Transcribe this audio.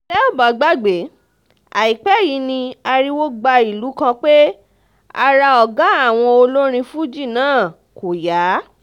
tẹ́ ò bá gbàgbé àìpẹ́ yìí ni ariwo gba ìlú kan pé ara ọ̀gá àwọn olórin fuji náà kò yá